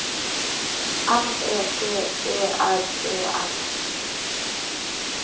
M E T E R E N